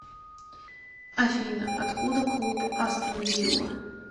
афина откуда клуб астон вилла